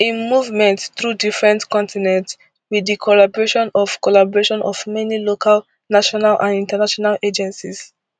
im movement through different continents with di collaboration of collaboration of many local national and international agencies